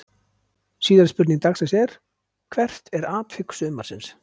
Síðari spurning dagsins er: Hvert er atvik sumarsins?